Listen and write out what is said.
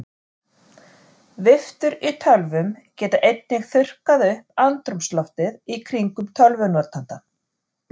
Viftur í tölvum geta einnig þurrkað upp andrúmsloftið í kringum tölvunotandann.